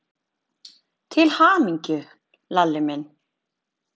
Til hamingju, Lalli minn.